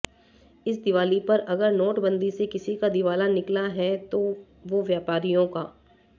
इस दिवाली पर अगर नोटबंदी से किसी का दिवाला निकला है तो वो व्यापारियों का